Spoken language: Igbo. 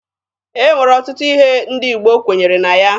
E nwere ọtụtụ ihe ndị Igbo kwenyere na ya.